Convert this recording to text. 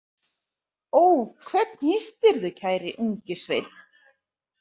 Ó, hvern hittirðu, kæri ungi sveinn?